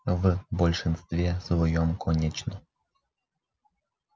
в большинстве своём конечно